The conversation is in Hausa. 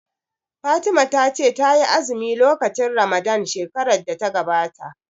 Fatima ta ce ta yi azumi lokacin ramadan shekarar da ta gabata